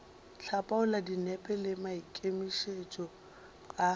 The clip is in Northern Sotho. hlapaola dinepo le maikemišetšo a